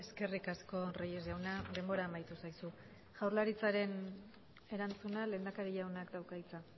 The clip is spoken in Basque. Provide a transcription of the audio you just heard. eskerrik asko reyes jauna denbora amaitu zaizu jaurlaritzaren erantzuna lehendakari jaunak dauka hitza